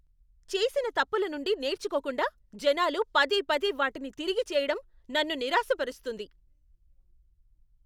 చేసిన తప్పుల నుండి నేర్చుకోకుండా జనాలు పదేపదే వాటిని తిరిగి చేయడం నన్ను నిరాశపరుస్తుంది.